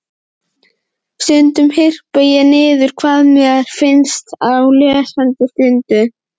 Stundum hripaði ég niður hvað mér fannst á lesandi stundu.